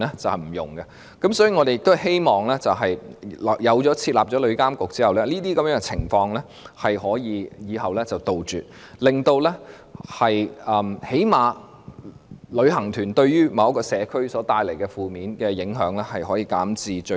所以，我們希望設立旅監局後，日後可以杜絕這些情況，最少令旅行團對社區帶來的負面影響減至最低。